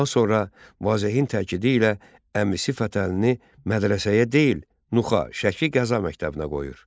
Daha sonra Vazehin təkidi ilə əmisi Fətəlini mədrəsəyə deyil, Nuxa (Şəki) Qəza məktəbinə qoyur.